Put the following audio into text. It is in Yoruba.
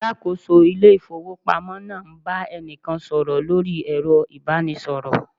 Alakoso ile ifowopamo naa n ba enikan soro lori ero ibanisoro